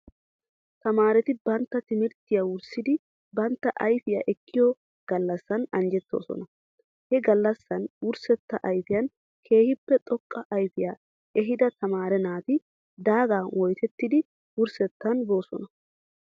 Tamaareti bantta timirttiya wurssidi bantta ayfiyaa ekkiyo gallassan anjjettoosona. He gallassan wurssetta ayfiyan keehippe xoqqa ayfiyaa ehidda tamare naati daaga woyttettidi wurssettan boosona.